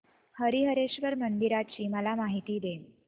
हरीहरेश्वर मंदिराची मला माहिती दे